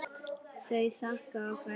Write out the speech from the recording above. Þau þakka og kveðja.